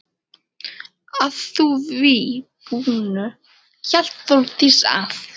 Að því búnu hélt Þórdís að